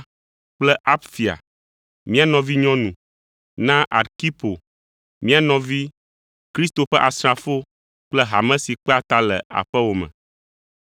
kple Apfia, mía nɔvinyɔnu, na Arkipo, mía nɔvi, Kristo ƒe asrafo kple hame si kpea ta le aƒewò me.